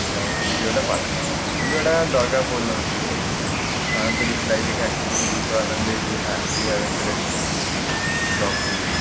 যাও আমার ভিডিয়োটা পাঠা। কিন্তু এটা দরকার পড়ল না। আমি তোর reply দেখে একটু একটু বুঝতে পারলাম যে you have you have interest talk to me